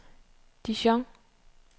Dijon